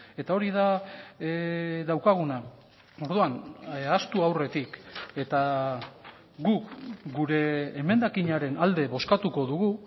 eta hori da daukaguna orduan ahaztu aurretik eta gu gure emendakinaren alde bozkatuko dugu